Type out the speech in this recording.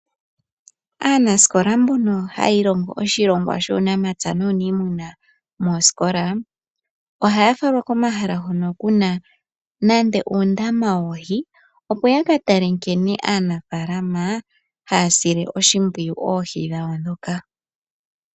Aanasikola mbono haya ilongo oshilongwa shuunamapya nuuniimuna moosikola. Ohaya falwa komahala hono kuna nande uundama woohi opo ya katale nkene aanafalama haya sile oshimpwiyu oohi dhawo ndhoka.